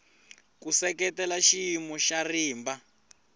ku seketela xiyimo xa rimba